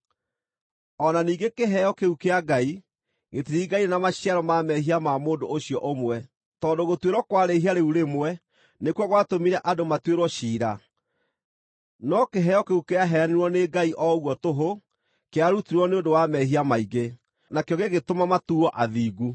O na ningĩ, kĩheo kĩu kĩa Ngai gĩtiringaine na maciaro ma mehia ma mũndũ ũcio ũmwe: Tondũ gũtuĩrwo kwa rĩĩhia rĩu rĩmwe nĩkuo gwatũmire andũ matuĩrwo ciira, no kĩheo kĩu kĩaheanirwo nĩ Ngai o ũguo tũhũ kĩarutirwo nĩ ũndũ wa mehia maingĩ, nakĩo gĩgĩtũma matuuo athingu.